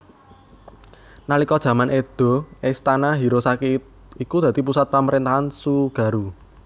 Nalika jaman Edo Istana Hirosaki iku dadi pusat pamrentahan Tsugaru